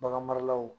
Bagan maralaw